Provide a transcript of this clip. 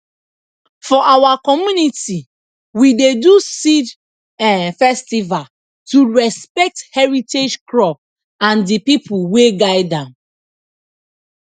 for our community we dey do seed um festival to respect heritage crop and the people wey guide dem